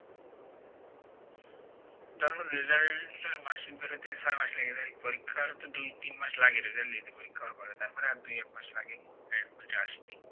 তারপর result টার mark sheet বেরোতে ছয় মাস লেগে যায় পরীক্ষার তো দুই তিন মাস লাগে result নিতে পরীক্ষা হওয়ার পরে তার পরে আর দুই এক মাস লাগে ওইটা আসতে